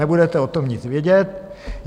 Nebudete o tom nic vědět.